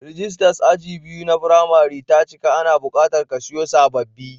Rijistas aji biyu na firimari ta cika, ana buƙatar a kasiyo sababbi.